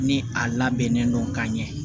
Ni a labɛnnen don ka ɲɛ